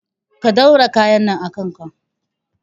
Ka ɗaura kayan nan a kanka